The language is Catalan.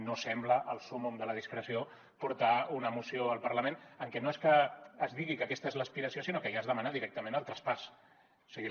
no sembla el súmmum de la discreció portar una moció al parlament en què no és que es digui que aquesta és l’aspiració sinó que ja es demana directament el traspàs o sigui